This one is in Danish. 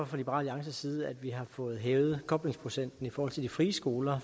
fra liberal alliances side at vi har fået hævet koblingsprocenten i forhold til de frie skoler